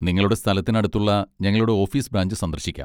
നിങ്ങളുടെ സ്ഥലത്തിന് അടുത്തുള്ള ഞങ്ങളുടെ ഓഫീസ് ബ്രാഞ്ച് സന്ദർശിക്കാം.